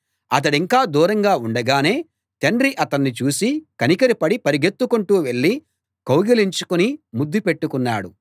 అతడింకా దూరంగా ఉండగానే తండ్రి అతణ్ణి చూసి కనికరపడి పరుగెత్తుకుంటూ వెళ్ళి కౌగలించుకుని ముద్దు పెట్టుకున్నాడు